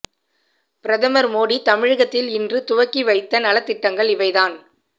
பிரதமர் மோடி தமிழகத்தில் இன்று துவக்கி வைத்த நலத் திட்டங்கள் இவைதான்